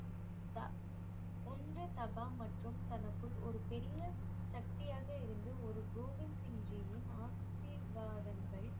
த~ ஒன்று தபா மற்றும் தனக்குள் ஒரு பெரிய சக்தியாக இருந்து ஒரு கோவிந் சிங் ஜீயின் ஆசீர்வாதங்கள்